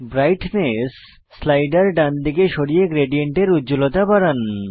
brightness slider ডানদিকে সরিয়ে গ্রেডিয়েন্টের উজ্জ্বলতা বাড়ান